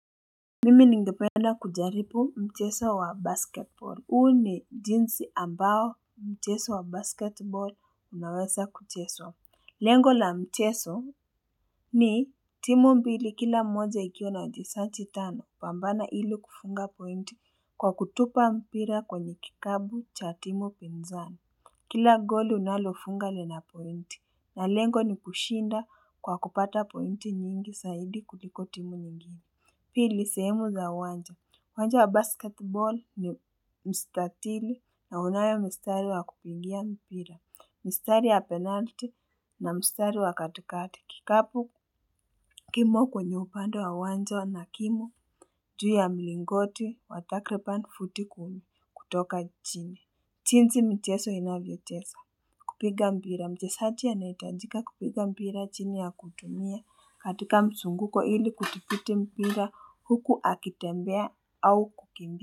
Mimi ningependa kujaribu mcheso wa basketball. Huu ni jinsi ambao mcheso wa basketball unawesa kucheswa. Lengo la mcheso ni timu mbili kila mmoja ikiwa na wajesachi tano pambana ili kufunga pointi kwa kutupa mpira kwenye kikabu cha timu pinzani. Kila goli unalofunga lina pointi na lengo ni kushinda kwa kupata pointi nyingi saidi kuliko timu nyingi. Pili sehemu za uwanja. Uwanja wa basketball ni mstatili na unayo mstari wa kupigia mpira. Mstari ya penalti na mstari wa katikati. Kikapu kimo kwenye upande wa uwanja na kimo juu ya mlingoti wa takriban futi kumi kutoka jini. Chinsi micheso inavyochesa kupiga mpira. Na mjesachi anahitajika kupiga mpira chini ya kutumia katika msunguko ili kudhibiti mpira huku akitembea au kukimbia.